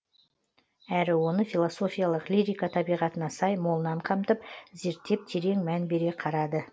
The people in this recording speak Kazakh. әрі оны философиялық лирика табиғатына сай молынан қамтып зерттеп терең мән бере қарады